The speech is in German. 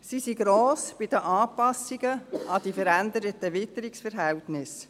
Sie sind gross bei den Anpassungen an die veränderten Witterungsverhältnisse.